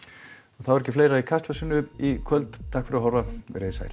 þá er ekki fleira í Kastljósinu í kvöld takk fyrir að horfa veriði sæl